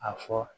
A fɔ